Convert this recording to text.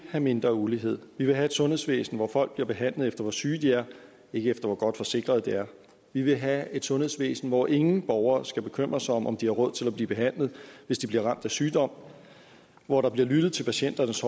have mindre ulighed vi vil have et sundhedsvæsen hvor folk bliver behandlet efter hvor syge de er ikke efter hvor godt forsikret de er vi vil have et sundhedsvæsen hvor ingen borgere skal bekymre sig om om de har råd til at blive behandlet hvis de bliver ramt af sygdom hvor der bliver lyttet til patienters